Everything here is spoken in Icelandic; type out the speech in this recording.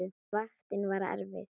Vaktin var erfið.